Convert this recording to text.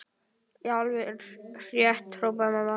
Já, alveg rétt hrópaði mamma.